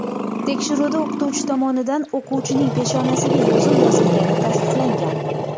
Tekshiruvda o‘qituvchi tomonidan o‘quvchining peshonasiga yozuv yozilgani tasdiqlangan.